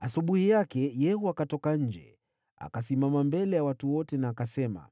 Asubuhi yake, Yehu akatoka nje. Akasimama mbele ya watu wote na akasema,